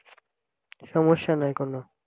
সমস্যা নাই কোন